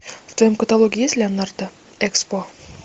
в твоем каталоге есть леонардо экспо